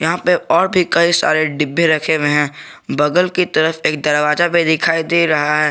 यहां पे और भी कई सारे डिब्बे रखे हुए हैं बगल की तरफ एक दरवाजा भी दिखाई दे रहा है।